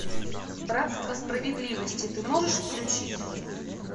братство справедливости ты можешь включить